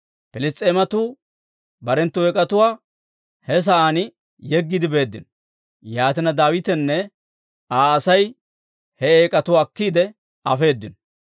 Piliss's'eematuu barenttu eek'atuwaa he sa'aan yeggiide beeddino. Yaatina Daawitenne Aa Asay he eek'atuwaa akkiide afeedino.